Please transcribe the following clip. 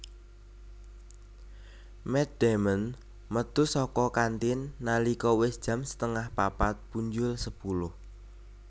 Matt Damon metu saka kantin nalika wis jam setengah papat punjul sepuluh